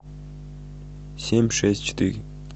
семь шесть четыре